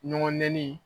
Ɲɔgɔn nɛni